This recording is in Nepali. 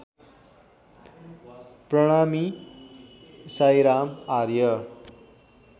प्रणामी साइराम आर्य